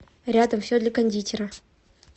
рядом все для кондитера